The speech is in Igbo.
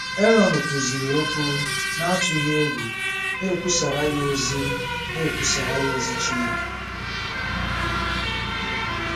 Erọn kwuziri okwu n’atụghị egwu, na-ekwusara ya ozi na-ekwusara ya ozi Chineke.